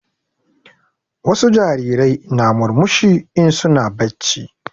Wasu jarirai na murmushi in su na bacci